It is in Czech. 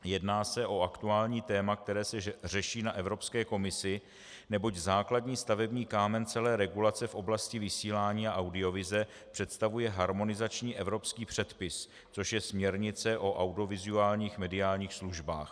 Jedná se o aktuální téma, které se řeší na Evropské komisi, neboť základní stavební kámen celé regulace v oblasti vysílání a audiovize představuje harmonizační evropský předpis, což je směrnice o audiovizuálních mediálních službách.